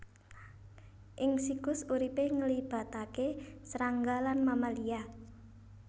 Ing siklus uripé nglibataké srangga lan mamalia